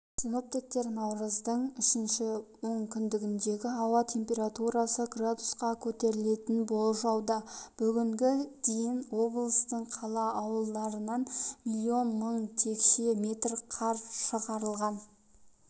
синоптиктер наурыздың үшінші онкүндігінде ауа температурасы градусқа көтерілетінін болжауда бүгінге дейін облыстың қала-ауылдарынан миллион мың текше метр қар шығарылған